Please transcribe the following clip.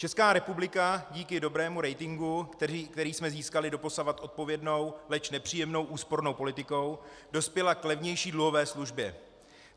Česká republika díky dobrému ratingu, který jsme získali doposud odpovědnou, leč nepříjemnou úspornou politikou, dospěla k levnější dluhové službě.